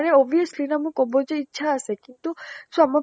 আৰে obviously না মোৰ কব যে ইচ্ছা আছে কিন্তু চোৱা মই